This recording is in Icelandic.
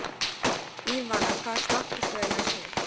Ívana, hvaða stoppistöð er næst mér?